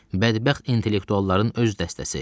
Bədbəxt intellektualların öz dəstəsi.